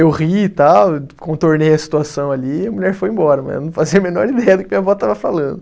Eu ri e tal, contornei a situação ali e a mulher foi embora, mas ela não fazia a menor ideia do que minha vó estava falando.